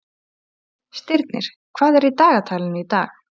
Stirnir, hvað er í dagatalinu í dag?